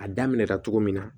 A daminɛ la cogo min na